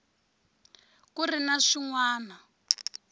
ku ri na swin wana